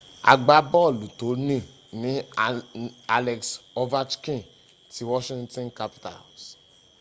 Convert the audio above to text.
agbábọ̀lù tòní ní alex overchkin ti washington capitals